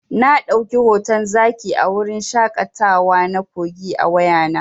Na ɗauki hoton zaki a wurin shaƙatawa na Kogi a wayana.